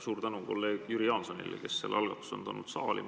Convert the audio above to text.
Suur tänu kolleeg Jüri Jaansonile, kes selle algatuse on saali toonud!